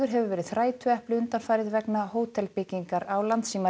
hefur verið þrætuepli undanfarið vegna hótelbyggingar á